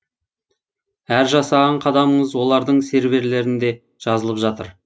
әр жасаған қадамыңыз олардың серверлерінде жазылып жатыр